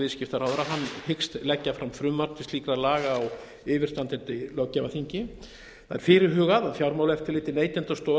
viðskiptaráðherra hyggst leggja fram frumvarp til slíkra laga á yfirstandandi löggjafarþingi það er fyrirhugað að fjármálaeftirlitið neytendastofa